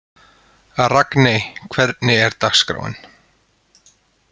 Ragney, hvernig er dagskráin?